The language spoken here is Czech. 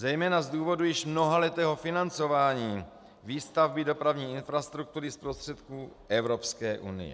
Zejména z důvodu již mnohaletého financování výstavby dopravní infrastruktury z prostředků Evropské unie.